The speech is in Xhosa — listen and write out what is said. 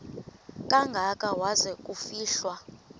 kangaka waza kufihlwa